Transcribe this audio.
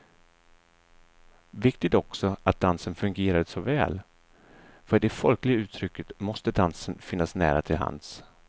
Viktigt också att dansen fungerade så väl, för i det folkliga uttrycket måste dansen finnas nära till hands.